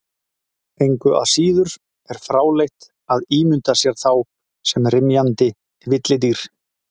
Engu að síður er fráleitt að ímynda sér þá sem rymjandi villidýr.